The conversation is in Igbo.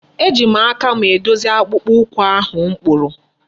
Eji m aka m edozi akpụkpọ ụkwụ ahụ m kpụrụ.